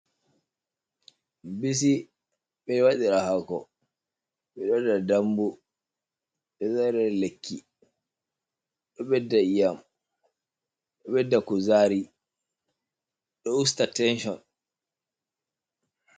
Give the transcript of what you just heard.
Bisi miwadira hako, miwaɗaa dambu, de zare lakki ɗo ɓedda yiyam ɗo ɓedda kuzari ɗo usta tension.